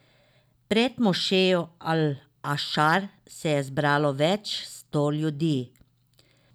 Pred mošejo Al Ašar se je zbralo več sto ljudi.